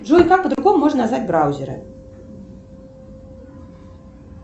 джой как по другому можно назвать браузеры